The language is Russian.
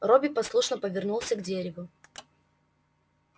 робби послушно повернулся к дереву